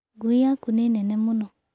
Ngui yaku nĩ nene mũno.